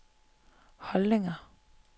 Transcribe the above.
holdninger